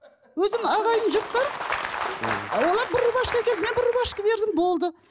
өзім ағайын жұрттар олар бір рубашка әкелді мен бір рубашка бердім болды